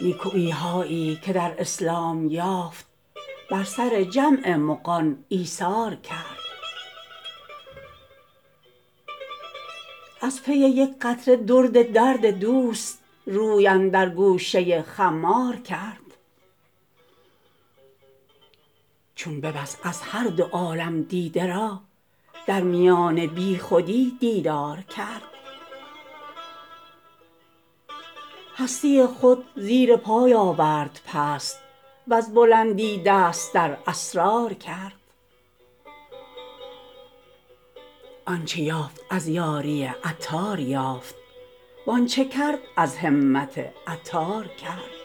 نیکویی هایی که در اسلام یافت بر سر جمع مغان ایثار کرد از پی یک قطره درد درد دوست روی اندر گوشه خمار کرد چون ببست از هر دو عالم دیده را در میان بیخودی دیدار کرد هستی خود زیر پای آورد پست وز بلندی دست در اسرار کرد آنچه یافت از یاری عطار یافت وآنچه کرد از همت عطار کرد